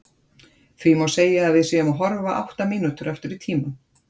því má segja að við séum að horfa átta mínútur aftur í tímann